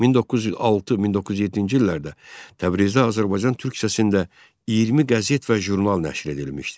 1906-1907-ci illərdə Təbrizdə Azərbaycan türkçəsində 20 qəzet və jurnal nəşr edilmişdi.